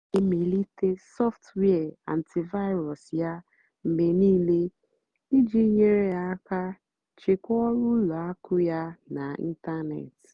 ọ́ nà-èmélìté sọ́ftụ́wíà ántị́vírú́s yá mgbe níìlé ìjì nyèrè àká chèkwáà ọ́rụ́ ùlọ àkụ́ yá n'ị́ntánètị́.